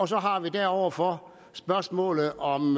så har vi deroverfor spørgsmålet om